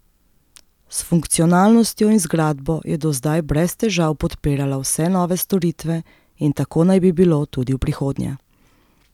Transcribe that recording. S funkcionalnostjo in zgradbo je do zdaj brez težav podpirala vse nove storitve in tako naj bi bilo tudi v prihodnje.